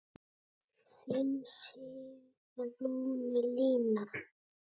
Þín Sigrún Lína.